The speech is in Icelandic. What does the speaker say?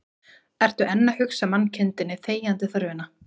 Ertu enn að hugsa mannkindinni þegjandi þörfina